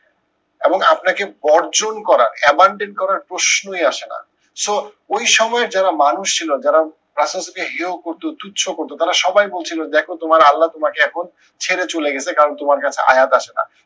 এবং আপনাকে বর্জন করা abandon করার প্রশ্নই আসে না। so ওই সময়ের যারা মানুষ ছিল যারা ইসলাম কে হেও করতো তুচ্ছ করতো তারা সবাই বলছিলো দেখো তোমার আল্লাহ তোমাকে এখন ছেড়ে চলে গিছে কারণ তোমার কাছে আয়াত আসে না